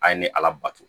A ye ne ala bato